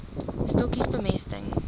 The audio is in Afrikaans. stokkies bemesting